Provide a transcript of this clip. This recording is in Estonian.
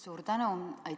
Suur tänu!